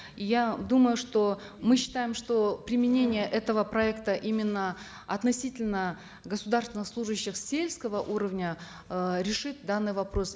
я думаю что мы считаем что применение этого проекта именно относительно государственных служащих сельского уровня э решит данный вопрос